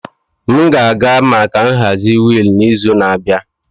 M ga-aga maka nhazi wheel n'izu na-abịa.